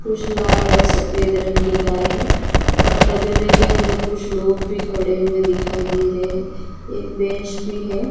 कुछ लाल और सफेद रंग की गाय हैं और तबेले के अंदर कुछ लोग भी खड़े हुए दिखाई दे रहे हैं एक बेंच भी है।